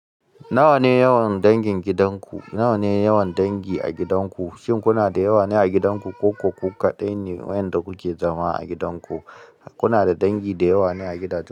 Nawa ne yawan dangin gidan ku? Nawa ne yawan dangi a gidan ku? Shin kuna da yawa ne a gidan ku ko ku kaɗai ne waƴanda kuke zama a gidan ku? Kuna da dangi da yawa ne a gidajen?